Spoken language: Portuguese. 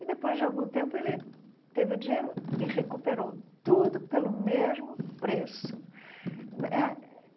E, depois de algum tempo, ele teve o dinheiro e recuperou tudo pelo mesmo preço eh.